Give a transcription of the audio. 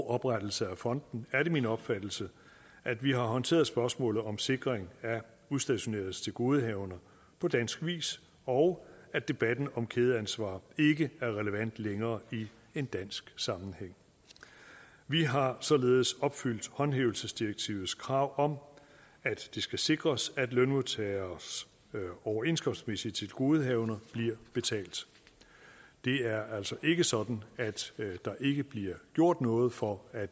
oprettelse af fonden er det min opfattelse at vi har håndteret spørgsmålet om sikring af udstationeredes tilgodehavender på dansk vis og at debatten om kædeansvar ikke er relevant længere i en dansk sammenhæng vi har således opfyldt håndhævelsesdirektivets krav om at det skal sikres at lønmodtageres overenskomstmæssige tilgodehavender bliver betalt det er altså ikke sådan at der ikke bliver gjort noget for at